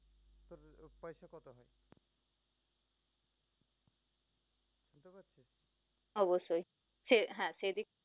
অবশ্যই সে হ্যাঁ সে দিক